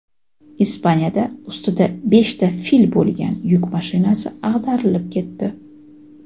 Ispaniyada ustida beshta fil bo‘lgan yuk mashinasi ag‘darilib ketdi.